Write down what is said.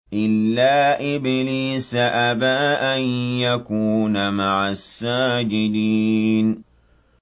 إِلَّا إِبْلِيسَ أَبَىٰ أَن يَكُونَ مَعَ السَّاجِدِينَ